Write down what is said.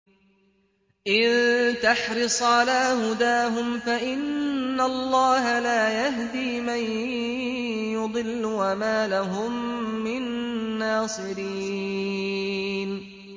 إِن تَحْرِصْ عَلَىٰ هُدَاهُمْ فَإِنَّ اللَّهَ لَا يَهْدِي مَن يُضِلُّ ۖ وَمَا لَهُم مِّن نَّاصِرِينَ